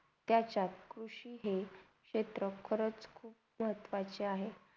त्याच्यात कृषी हे क्षेत्र खारच हे खुप महत्वाचा आहे.